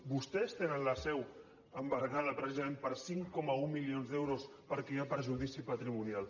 vostès tenen la seu embargada precisament per cinc coma un milions d’euros perquè hi ha perjudici patrimonial